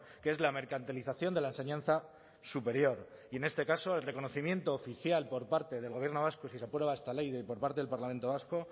que es la mercantilización de la enseñanza superior y en este caso el reconocimiento oficial por parte del gobierno vasco y si se aprueba esta ley por parte del parlamento vasco